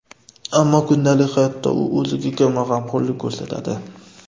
Ammo kundalik hayotda u o‘ziga kamroq g‘amxo‘rlik ko‘rsatadi.